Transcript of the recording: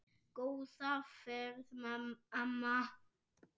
Góða ferð, amma.